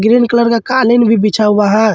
Green colour का कालीन भी बिछा हुआ है।